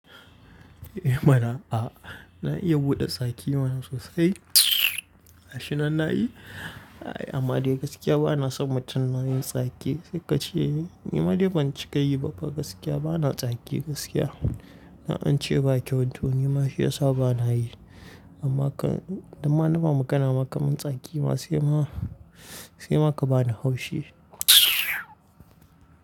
Eh mana a, na iya buɗe tsaki mana sosai. Gashinan na yi, amma dai gaskiya bana son mutane na yin tsaki. Sai ka ce ni. Nima dai ban cika yi ba fa gaskiya bana tsaki gaskiya. An ce ba kyau tun nima shi yasa bana yi. Amma kam idan ma nama magana ma kamun tsaki ma sai ma, sai ma ka bana haushi.